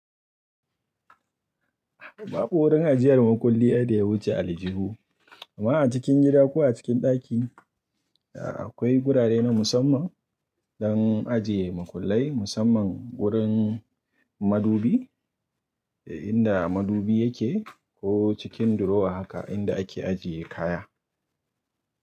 Babu wurin ajiyar makulli ai da ya wuce a aljihu, amma a cikin gida ko a cikin ɗaki, akwai wurare na musamman don ajiye makullai, musamman wurin madubi, inda madubi yake ko cikin durowa haka inda ake ajiye kaya.